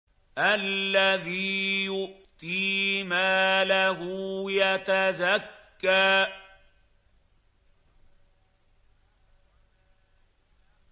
الَّذِي يُؤْتِي مَالَهُ يَتَزَكَّىٰ